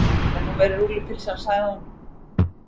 Þetta er nú meiri rúllupylsan, sagði hún.